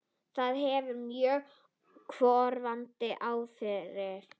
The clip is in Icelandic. Það hefur mjög örvandi áhrif.